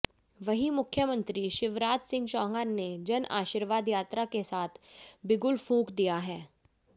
वहीं मुख्यमंत्री शिवराज सिंह चौहान ने जन आशीर्वाद यात्रा के साथ बिगुल फूंक दिया है